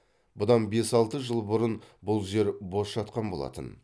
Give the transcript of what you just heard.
бұдан бес алты жыл бұрын бұл жер бос жатқан болатын